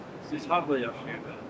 Siz harda yaşamışdınız?